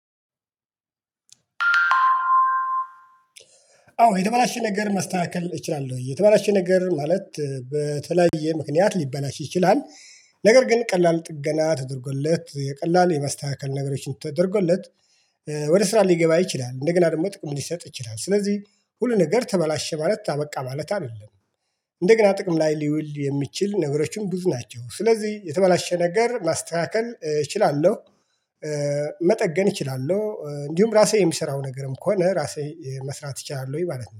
አዎ የተበላሽን ነገር ማስተካከል እችላለሁ የተባላችሁን ነገር ማለት በተለያየ ምክንያት ሊበላሽ ይችላል። ነገር ግን ቀላል ጥገና ተደርጎለት የቀላል የመስተካከል ነገሮችን ተደርጎለት ወደ ስራ ሊገባ ይችላል እንደገና ደግሞ ጥቅም ሊሰጥ ይችላል። ስለዚህ ሁሉ ነገር ተበላሸ ማለት ታበቃ ማለት አይደለም። እንደገና ጥቅም ላይ ሊውል የሚችል ነብሮቹም ብዙ ናቸው ስለዚህ የተበላሸ ነገር ማስተካከል እችላለሁ። መጠገን እችላለሁ እንዲሁም ራሴ የሚሰራው ነገርም ከሆነ ራሴ መስራት ይቻላል ወይ ማለት ነው